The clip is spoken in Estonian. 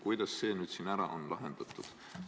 Kuidas see nüüd ära on lahendatud?